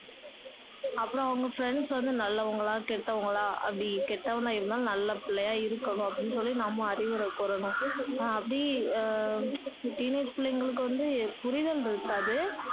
அப்பறோம் அவங்க friends வந்து நல்லவங்களா கெட்டவங்களா அப்படி கெட்டவங்களா இருந்தாலும் நல்ல பிள்ளையா இருக்கணும் அப்படின்னு சொல்லி நம்ம அறிவுரை கூறணும் அஹ் அப்படி அஹ் teenage பிள்ளைங்களுக்கு வந்து புரிதல் இருக்காது